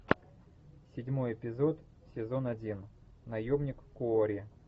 седьмой эпизод сезон один наемник куорри